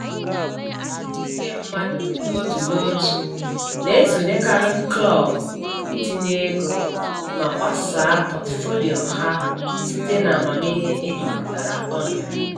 Ndị mmadụ n'otu n'otu na-esonyekarị klọb itinye ego ma gbasaa pọtụfoliyo ha site n'amamihe ejikọtara ọnụ.